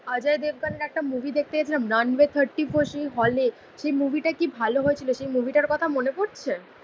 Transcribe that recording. অজয় দেবগানের একটা মুভি দেখতে গেছিলাম রানওয়ে থার্টি ফোর সেই হলে. সেই মুভিটা কি ভালো হয়েছিল. সেই মুভিটার কথা মনে পরছে?